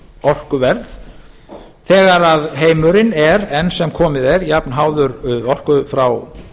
orkuverð þegar heimurinn er enn sem komið er jafnháður orku frá